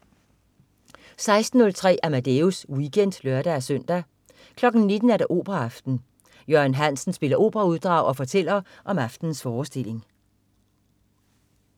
16.03 Amadeus Weekend (lør-søn) 19.00 Operaaften. Jørgen Hansen spiller operauddrag og fortæller om aftenens forestilling